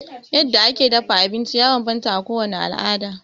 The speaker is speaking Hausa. Yadda ake dafa abinci ya bambanta a kowane al'ada.